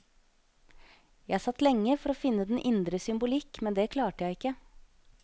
Jeg satt lenge for å finne den indre symbolikk, men det klarte jeg ikke.